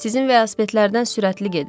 Sizin velosipedlərdən sürətli gedir.